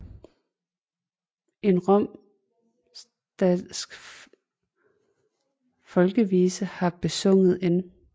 En romsdalsk folkevise har besunget N